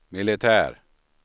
militär